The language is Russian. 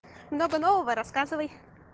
много нового рассказывай